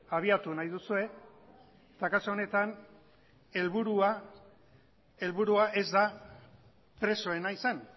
abiatu nahi duzue eta kasu honetan helburua helburua ez da presoena izan